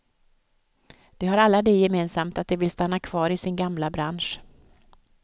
De har alla det gemensamt att de vill stanna kvar i sin gamla bransch.